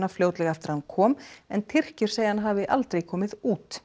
fljótlega eftir að hann kom en Tyrkir segja að hann hafi aldrei komið út